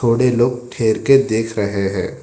थोड़े लोग ठहर के देख रहे हैं।